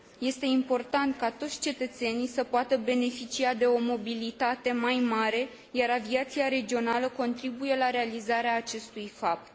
Este important ca toți cetățenii să poată beneficia de o mobilitate mai mare, iar aviația regională contribuie la realizarea acestui fapt.